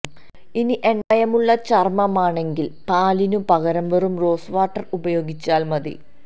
ഇനി എണ്ണമയമുള്ള ചര്മമാണെങ്കില് പാലിനു പകരം വെറും റോസ് വാട്ടര് ഉപയോഗിച്ചാല് മതി